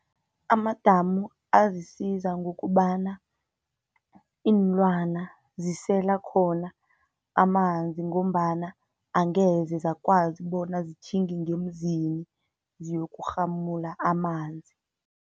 Amadamu azisiza ngokobana, iinlwana zisela khona amanzi, ngombana angeze zakwazi bona zitjhinge ngemizini ziyokurhamula amanzi.